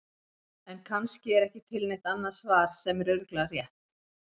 En kannski er ekki til neitt annað svar sem er örugglega rétt.